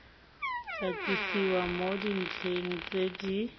katisiwa mo dintlheng tse di